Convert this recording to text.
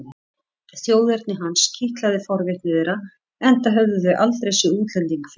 Þjóðerni hans kitlaði forvitni þeirra enda höfðu þau aldrei séð útlending fyrr.